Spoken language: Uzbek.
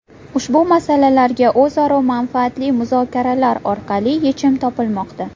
Ushbu masalalarga o‘zaro manfaatli muzokaralar orqali yechim topilmoqda.